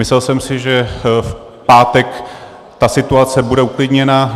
Myslel jsem si, že v pátek ta situace bude uklidněna.